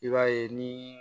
I b'a ye ni